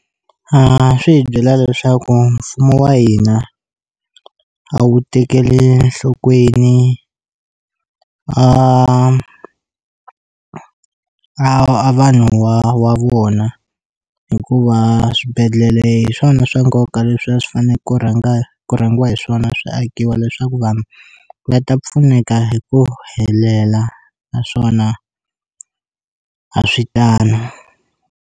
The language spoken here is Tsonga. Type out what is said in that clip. A swi hi byela leswaku mfumo wa hina a wu tekeli enhlokweni a a a vanhu wa wa vona hikuva swibedhlele hi swona swa nkoka leswi a swi fane ku rhanga ku rhangiwa hi swona swi akiwa leswaku vanhu va ta pfuneka hi ku helela naswona a swi tano.